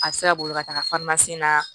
A bɛ se ka boli ka taga na